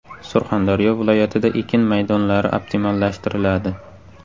Surxondaryo viloyatida ekin maydonlari optimallashtiriladi.